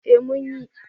Eh mun yi.